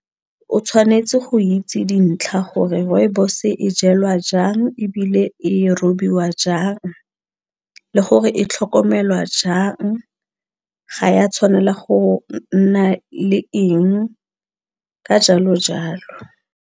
O tshwanetse go itse dintlha gore rooibos e jalwa jang ebile e robiwa jang le gore e tlhokomelwa jang ga ya tshwanela go nna le eng ka jalo jalo.